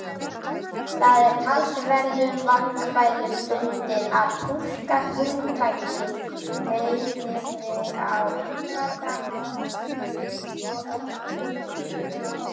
Það er talsverðum vandkvæðum bundið að túlka hugtakið meiðyrði á einfaldan hátt svo öllum líki.